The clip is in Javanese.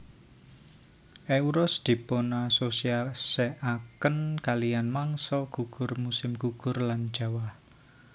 Euros dipunasosiasiaken kalihan mangsa gugur musim gugur lan jawah